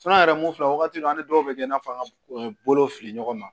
an yɛrɛ mun filɛ wagati dɔ an dɔw bɛ kɛ i n'a fɔ an ka bolo fili ɲɔgɔn na